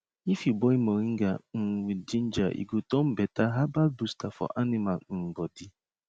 if you boil moringa um with ginger e go turn better herbal booster for animal um body